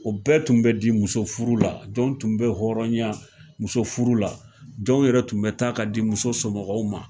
O bɛɛ tun be di musofuru la jɔnw tun bɛ hɔrɔnya musofuru la jɔnw yɛrɛ tun bɛ taa ka di muso somɔgɔw ma